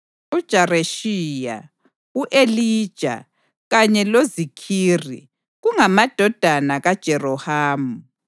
uJareshiya, u-Elija, kanye loZikhiri kungamadodana kaJerohamu.